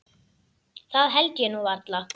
Það held ég nú varla.